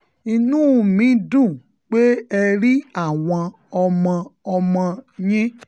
inú mi dùn pé ẹ rí àwọn ọmọ-ọmọ yín